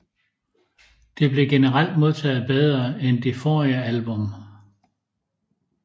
Det blev generelt modtaget bedre end det forrige album